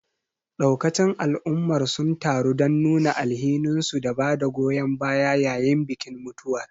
Daukacin al'ummar sun taru don nuna alhininsu da bada goyon baya yayin bikin mutuwar.